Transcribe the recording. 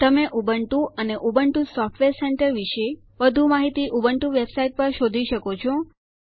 તમે ઉબુન્ટુ અને Ubuntu software center વિષે વધુ માહિતી ઉબુન્ટુ વેબસાઇટ પર શોધી શકો છો